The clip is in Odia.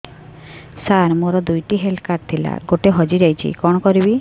ସାର ମୋର ଦୁଇ ଟି ହେଲ୍ଥ କାର୍ଡ ଥିଲା ଗୋଟେ ହଜିଯାଇଛି କଣ କରିବି